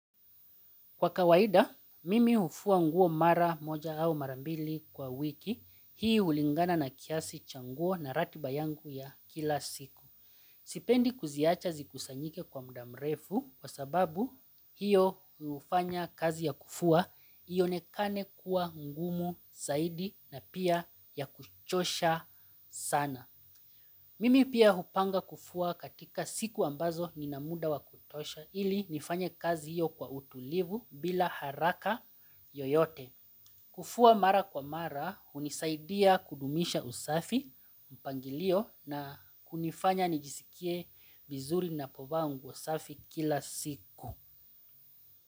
Kwa kawaida, mimi hufua nguo mara moja au mara mbili kwa wiki, hii hulingana na kiasi cha nguo na ratiba yangu ya kila siku. Sipendi kuziacha zikusanyike kwa mda mrefu kwa sababu hiyo hufanya kazi ya kufua, ionekane kuwa ngumu, saidi na pia ya kuchosha sana. Mimi pia hupanga kufua katika siku ambazo nina muda wa kutosha ili nifanye kazi hiyo kwa utulivu bila haraka yoyote. Kufua mara kwa mara hunisaidia kudumisha usafi mpangilio na kunifanya nijisikie vizuri ninapovaa nguo safi kila siku.